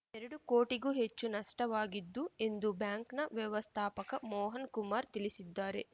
ಎರಡು ಕೋಟಿಗೂ ಹೆಚ್ಚು ನಷ್ಟವಾಗಿದ್ದು ಎಂದು ಬ್ಯಾಂಕ್‌ನ ವ್ಯವಸ್ಥಾಪಕ ಮೋಹನ್‌ ಕುಮಾರ್‌ ತಿಳಿಸಿದ್ದಾರೆ